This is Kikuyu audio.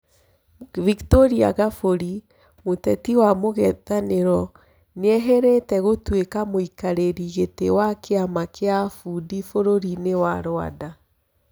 Victoria Ngabũri mûteti wa mũng'ethanĩ ro nĩ eyeheretie gũtũĩ ka mũikarĩ rĩ gĩ tĩ wa kĩ ama kĩ a Fudi bũrũri-inĩ wa Rwanda.